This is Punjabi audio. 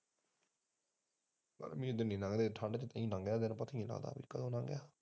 ਇਹ ਦਿਨ ਨੀ ਲੰਘ ਠੰਢ ਚ ਦਿਨ ਲੰਘਦਾ ਪਤਾ ਨੀ ਲੱਗਦਾ ਕਦੋਂ ਲੰਘ ਗਿਆ